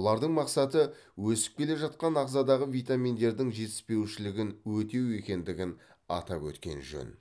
олардың мақсаты өсіп келе жатқан ағзадағы витаминдердің жетіспеушілігін өтеу екендігін атап өткен жөн